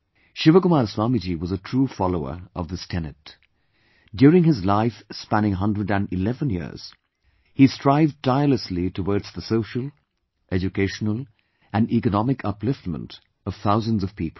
ShivaKumar Swamiji was a true follower of this tenet ... during his life spanning a hundred and eleven years, he strived tirelessly towards the social, educational and economic upliftment of thousands of people